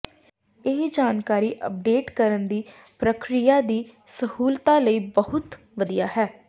ਇਹ ਜਾਣਕਾਰੀ ਅੱਪਡੇਟ ਕਰਨ ਦੀ ਪ੍ਰਕਿਰਿਆ ਦੀ ਸਹੂਲਤ ਲਈ ਬਹੁਤ ਵਧੀਆ ਹੈ